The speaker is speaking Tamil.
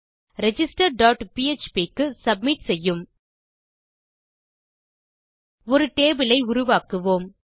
ரிஜிஸ்டர் டாட் பிஎச்பி க்கு சப்மிட் செய்யும் ஒரு டேபிள் ஐ உருவாக்குவோம்